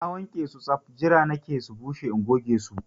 Na wanke su saf! Jira nake su bushe in goge su